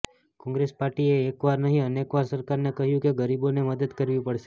કોંગ્રેસ પાર્ટીએ એક વાર નહીં અનેકવાર સરકારને કહ્યું કે ગરીબોને મદદ કરવી પડશે